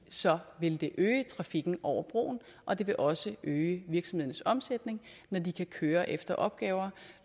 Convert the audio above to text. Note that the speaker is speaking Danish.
så vil det øge trafikken over broen og det vil også øge virksomhedernes omsætning når de kan køre efter opgaver